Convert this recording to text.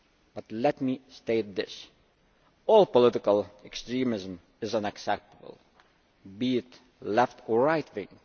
But let me state this all political extremism is unacceptable, be it left or right wing.